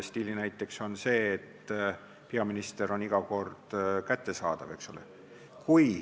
Stiilinäide on see, et peaminister on iga kord kättesaadav.